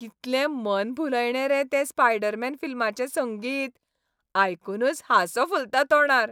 कितलें मनभुलायणें रे स्पायडरमॅन फिल्माचें संगीत, आयकूनच हांसो फुलता तोंडार.